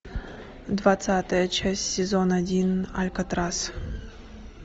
двадцатая часть сезон один алькатрас